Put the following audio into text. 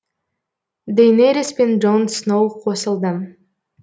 дейнерис пен джон сноу қосылды